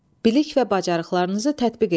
Bilik və bacarıqlarınızı tətbiq eləyin.